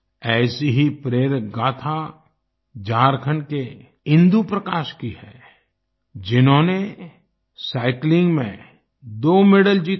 ऐसे ही प्रेरक गाथा झारखंड के इंदु प्रकाश की है जिन्होंने साइक्लिंग में दो मेडल जीते हैं